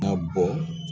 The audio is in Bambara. Ka bɔ